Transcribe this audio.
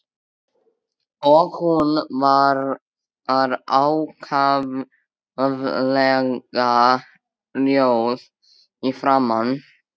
Og hún var ákaflega rjóð í framan.